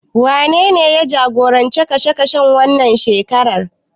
Wanene ya jagoranci tashen wannan shekarar?